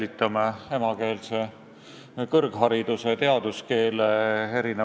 Nii et see eelnõu on vähemalt osaliselt täitnud oma eesmärki, ja seda ka siis, kui me seda Riigikogus edasi ei menetle.